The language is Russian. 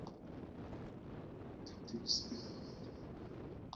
коты в сбербанке